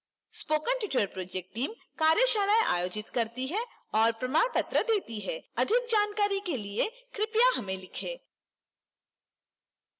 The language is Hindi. spoken tutorial project team कार्यशालाएं आयोजित करती है और प्रमाण पत्र देती है